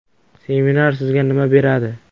Seminar sizga nima beradi?